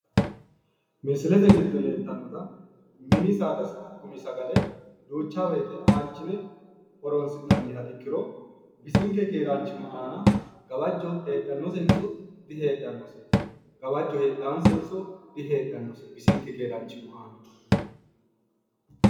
misilete giddo leeltannota mini saada gumi sagale duucha woyiite aanchine roronsi'nannniha ikkiro bisinke keeraanchimma aana gawajjo heedhanosenso diheedhannose heedhanosenso diheedhannose bisinke keeraanchima aana?